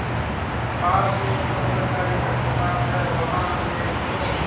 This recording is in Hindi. पास में जो सरकारी अस्पताल है वहां ले चलो